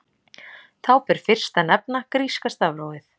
Þá ber fyrst að nefna gríska stafrófið.